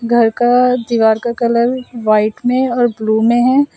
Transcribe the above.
घर का दीवार का कलर वाइट में और ब्लू में है।